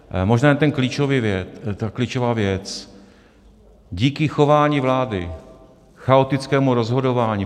Možná jen ta klíčová věc, díky chování vlády, chaotickému rozhodování.